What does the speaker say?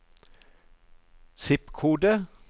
zip-kode